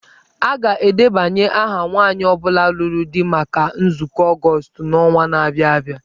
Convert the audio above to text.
A ga-edebanye aha nwanyị ọ bụla lụrụ di maka nzukọ Ọgọọst n'ọnwa na-abịa abịa.